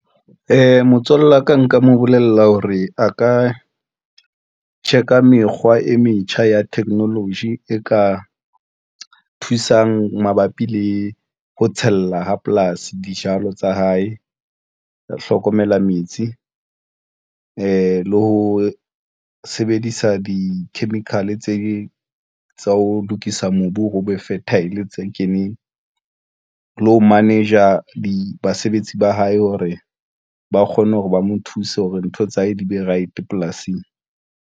Motswalle wa ka nka mo bolella hore a ka check-a mekgwa e metjha ya technology e ka thusang mabapi le ho tshella ha polasi. Dijalo tsa hae ke hlokomela metsi le ho sebedisa di-chemical tse tsa ho lokisa mobu o re o be fertile tse keneng le ho manager basebetsi ba hae hore ba kgone hore ba mo thuse hore ntho tsa hae di be right polasing.